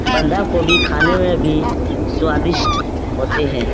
बंधा कोभी खाने में भी स्वादिष्ट होते हैं।